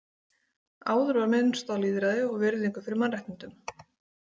Áður var minnst á lýðræði og virðingu fyrir mannréttindum.